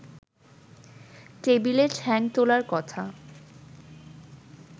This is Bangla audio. টেবিলে ঠ্যাং তোলার কথা